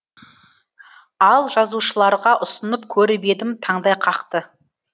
ал жазушыларға ұсынып көріп едім таңдай қақты